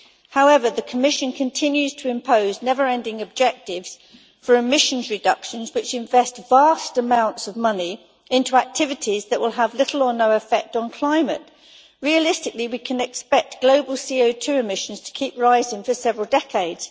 However, the Commission continues to impose never ending objectives for emissions reductions which invest vast amounts of money into activities that will have little or no effect on climate. Realistically, we can expect global CO2 emissions to keep rising for several decades.